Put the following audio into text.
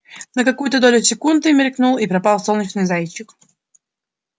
на какую-то долю секунды мелькнул и пропал солнечный зайчик